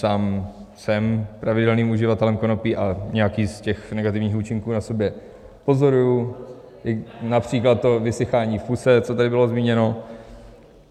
Sám jsem pravidelným uživatelem konopí a nějaký z těch negativních účinků na sobě pozoruji, například to vysychání v puse, co tady bylo zmíněno.